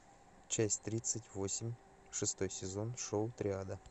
часть тридцать восемь шестой сезон шоу триада